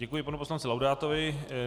Děkuji panu poslanci Laudátovi.